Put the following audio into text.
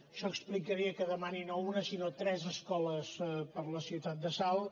això explicaria que demani no una sinó tres escoles per a la ciutat de salt